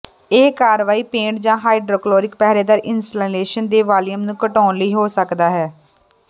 ਇਹ ਕਾਰਵਾਈ ਪੇਟ ਜ ਹਾਈਡ੍ਰੋਕਲੋਰਿਕ ਪਹਿਰੇਦਾਰ ਇੰਸਟਾਲੇਸ਼ਨ ਦੇ ਵਾਲੀਅਮ ਨੂੰ ਘਟਾਉਣ ਲਈ ਹੋ ਸਕਦਾ ਹੈ